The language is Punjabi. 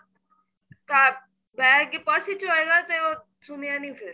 bag ਤੇ purse ਵਿੱਚ ਹੋਏਗਾ ਸੁਣਿਆ ਨੀਂ ਫੇਰ